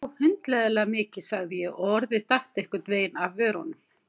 Já, hundleiðinlega mikið sagði ég og orðið datt einhvern veginn af vörunum.